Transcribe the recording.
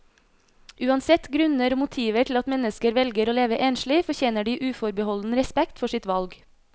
Uansett grunner og motiver til at mennesker velger å leve enslig, fortjener de uforbeholden respekt for sitt valg.